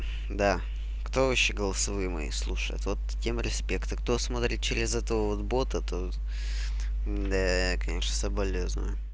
да кто вообще голосовые мои слушает вот тем респект а кто смотрит через этого вот бота то да конечно соболезную